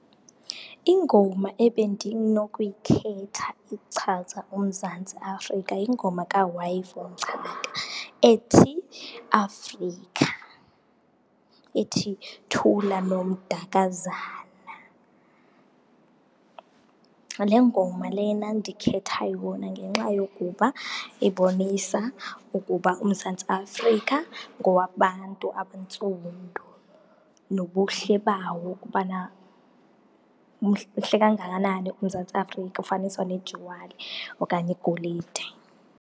Ingoma ebendinokuyikhetha ichaza uMzantsi Afrika yingoma ethi Africa, ithi thula nomdakazana. Le ngoma lena ndikhetha yona ngenxa yokuba ibonisa ukuba uMzantsi Afrika ngowabantu abantsundu, nobuhle bawo ukubana kangakanani uMzantsi Afrika ufaniswa nejuwali okanye igolide.